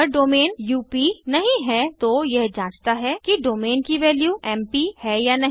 अगर domain UP नहीं है तो यह जांचता है कि डोमेन की वैल्यू एमपी है या नहीं